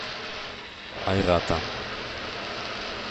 айрата